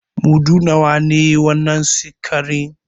Mudu nawa ne wannan sikarin?